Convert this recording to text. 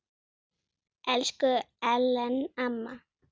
Elsku Ellen amma.